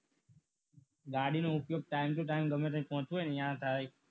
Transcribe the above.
ગાડી ઉપયોગ time to time ગમે ત્યાં પહોંચવો હોય ત્યાં થાય